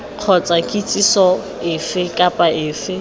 kgotsa kitsiso efe kapa efe